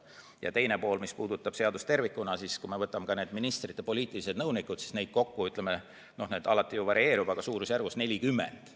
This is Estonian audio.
Ja teine pool, mis puudutab seadust tervikuna, siis kui me võtame ka ministrite poliitilised nõunikud, siis neid kokku on – see arv alati varieerub – juba suurusjärgus 40.